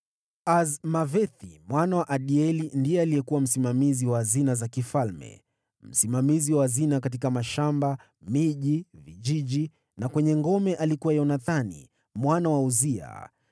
Azmawethi mwana wa Adieli ndiye alikuwa msimamizi wa hazina za mfalme. Msimamizi wa hazina katika mashamba, miji, vijiji na kwenye ngome alikuwa Yonathani mwana wa Uzia.